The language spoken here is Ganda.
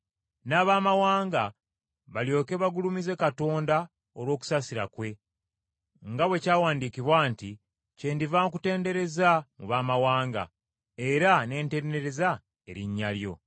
n’Abaamawanga balyoke bagulumize Katonda olw’okusaasira kwe, nga bwe kyawandiikibwa nti, “Kyendiva nkutendereza mu Baamawanga, era ne ntendereza erinnya lyo.”